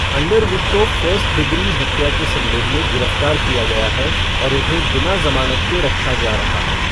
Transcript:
Underwood को first degree हत्या के संदेह में गिरफ्तार किया गया है और उन्हें बिना जमानत के रखा जा रहा है।